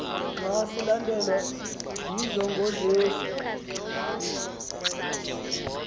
xa silandelwa yinjongosenzi